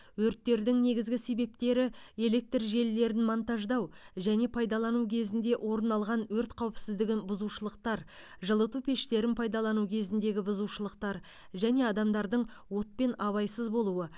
өрттердің негізгі себептері электр желілерін монтаждау және пайдалану кезінде орын алған өрт қауіпсіздігін бұзушылықтар жылыту пештерін пайдалану кезіндегі бұзушылықтар және адамдардың отпен абайсыз болуы